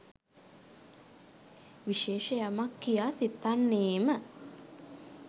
විශේෂ යමක් කියා සිතන්නේ ම